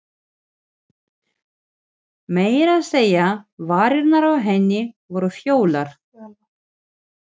Meira að segja varirnar á henni voru fölar.